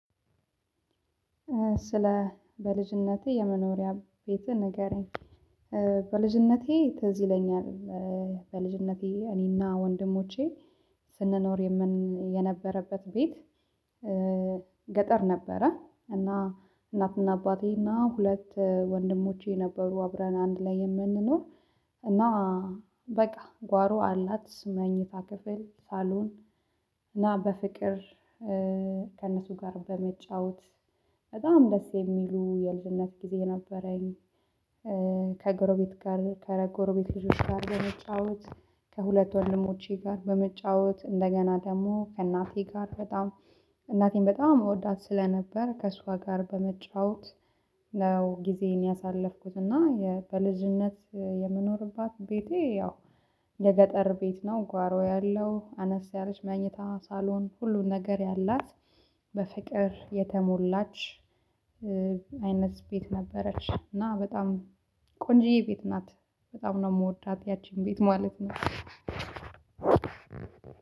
ስለ በልጅነቴ የመኖሪያ ቤት ንገረኝ? በልጅነቴ ትዝ ይለኛል። በልጅነቴ እኔና ወንድሞቼ ስንኖር የነበረበት ቤት ገጠር ነበረ። እና እናትና አባቴ እና ሁለት ወንድሞቼ ነበረ አብረን አንድ ላይ የምንኖር። እና በቃ ጓሮ አላት መኝታ ክፍል፣ ሳሎን እና በፍቅር ከእነሱ ጋር በመጫወት በጣም ደስ የሚሉ የልጅነት ጊዜ ነበረኝ። ከጎረቤት ጋር ከረጎረቤት ቤት ልጆች ጋር በመጫወት ከሁለት ወልሞቼ ጋር በመጫወት እንደገና ደግሞ ከእናቴ ጋር በጣም እናቴን በጣም መወዳት ስለነበር ከሷ ጋር በመጫወት ነው ጊዜን ያሳለፍኩት። እና በልጅነት የምኖርባት ቤቴ ያው የገጠር ቤት ነው። ጓሮ ያለው አነስ ያለች መኘታ ሳሎን ሁሉን ነገር ያላት በፍቅር የተሞላች አይነት ቤት ነበረች። እና በጣም ቆንጅዬ ቤት ናት። በጣም ነው የምወዳት ያቺን ቤት ማለት ነው።